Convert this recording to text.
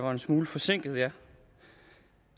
var en smule forsinket jeg